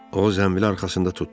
O, zənbili arxasında tutdu.